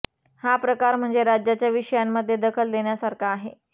हा प्रकार म्हणजे राज्याच्या विषयांमध्ये दखल देण्यासारखा आहे